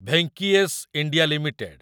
Venky's India limited